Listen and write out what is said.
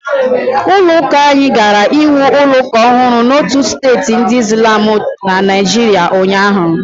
Ụlọ uka anyị gara ịwu ụlọ ụka ọhụrụ n'otu steeti ndi islam na Naịjirịa ụnyahụ.